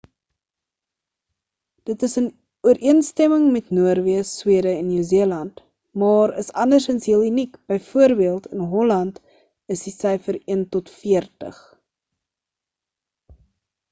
dit is in ooreenstemming met noorweë swede en nieu-seeland maar is andersins heel uniek b.v. in holland is die syfer een tot veertig